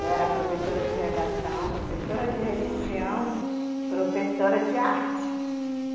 Eu era professora de redação, professora de religião, professora de arte.